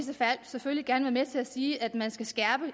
selvfølgelig gerne med til at sige at man skal skærpe